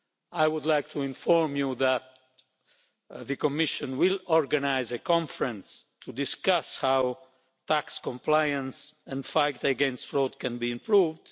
I would like to inform you that the Commission will organise a conference to discuss how tax compliance and the fight against fraud can be improved.